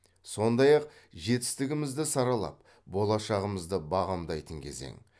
сондай ақ жетістігімізді саралап болашағымызды бағамдайтын кезең